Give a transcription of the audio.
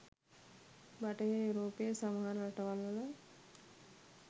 බටහිර යුරෝපයේ සමහර රටවල්වල